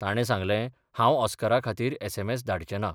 ताणें सांगलेंः 'हांव ऑस्करा खातीर एसएमएस धाडचें ना.